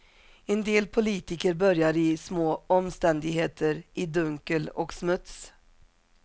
En del politiker börjar i små omständigheter, i dunkel och smuts.